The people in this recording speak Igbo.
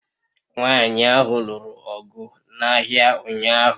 Nwanyị ahụ lụrụ ọgụ n'ahịa ụnyahụ